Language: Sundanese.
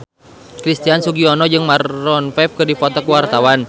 Christian Sugiono jeung Maroon 5 keur dipoto ku wartawan